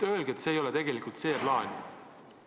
Öelge, et see ei ole tegelikult see plaan!